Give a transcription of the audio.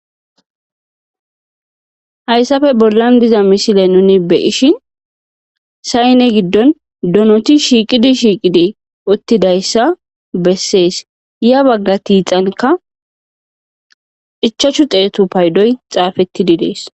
Hayssafe bollan diza misile nuni beishi sayne giddon donoti shiiqidi shiiqidi uttidayssa bessees ya bagga tiixanka ichachu xeetu paydoy xaafettididees.